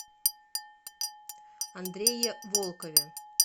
андрее волкове